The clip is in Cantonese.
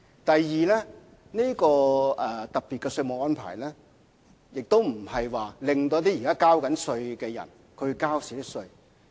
第二，這個特別的稅務安排，不會令一些正在繳稅的人少交稅款。